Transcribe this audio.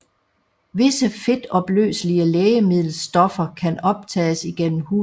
Visse fedtopløselige lægemiddelstoffer kan optages igennem huden